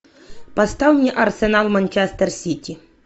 поставь мне арсенал манчестер сити